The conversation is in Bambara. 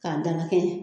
K'a dalakɛɲɛ